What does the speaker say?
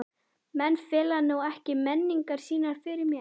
Menn fela nú ekki meiningar sínar fyrir mér.